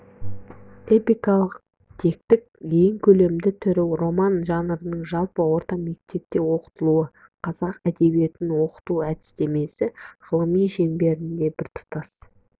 эпикалық тектің ең көлемді түрі роман жанрын жалпы орта мектепте оқытылу қазақ әдебиетін оқыту әдістемесі ғылымы шеңберінде біртұтас